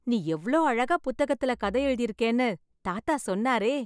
நீ எவ்ளோ அழகா புத்தகத்துல கதை எழுதிருக்கேன்னு, தாத்தா சொன்னாரே...